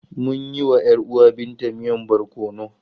Mun yi wa ‘yar uwar Binta miyan barkono.